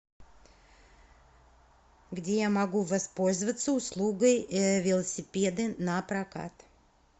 где я могу воспользоваться услугой велосипеды напрокат